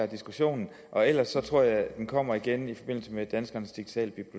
diskussionen og ellers tror jeg at den kommer igen i forbindelse med danskernes digitale